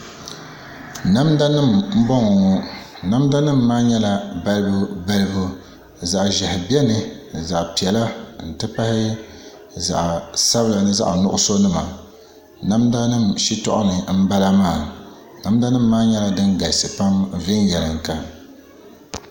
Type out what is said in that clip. Namda nim n bɔŋɔ ŋɔ namda nim maa nyɛla balibu balibu zaɣ ʒiɛhi biɛni ni zaɣ piɛla n ti pahi zaɣ sabila ni zaɣ nuɣso nima namda nim shitɔɣu ni n bala maa namda nim maa nyɛla din galisi pam viɛnyɛlinga